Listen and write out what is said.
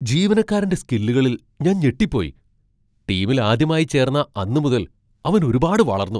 ജീവനക്കാരന്റെ സ്കില്ലുകളിൽ ഞാൻ ഞെട്ടിപ്പോയി, ടീമിൽ ആദ്യമായി ചേർന്ന അന്ന് മുതൽ അവൻ ഒരുപാട് വളർന്നു.